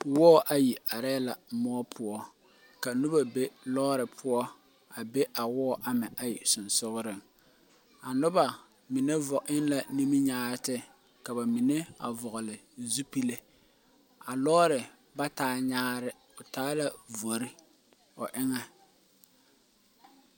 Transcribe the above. Woɔ ayi arẽ le mou puo ka nuba be loore puo a be woɔ ama ayi sinsuuring a nuba mene vɔgle ninmekyããte ka ba menne vɔgle zupili a loɔri ba taa nyaare ɔ taa la vori ɔ enga.